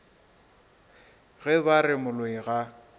ge ba re moloi ga